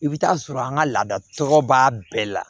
I bɛ t'a sɔrɔ an ka laada tɔgɔ b'a bɛɛ la